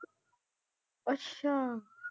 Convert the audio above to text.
ਅੱਛਾ।